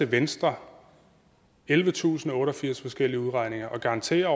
venstre ellevetusinde og otteogfirs forskellige udregninger og garantere